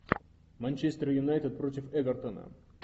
манчестер юнайтед против эвертона